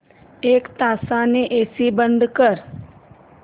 एक तासाने एसी बंद कर